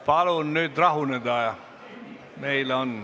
Palun nüüd rahuneda!